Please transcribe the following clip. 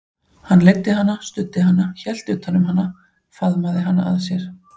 Hann leiddi hana, studdi hana, hélt utan um hana, faðmaði hana að sér.